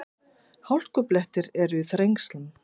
Hálkublettir eru í Þrengslum